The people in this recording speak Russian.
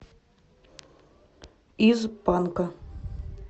из панка